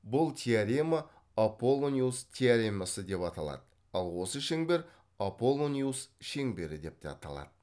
бұл теорема аполлониус теоремасы деп аталады ал осы шеңбер аполлониус шеңбері деп те аталады